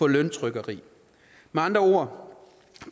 løntrykkeri med andre ord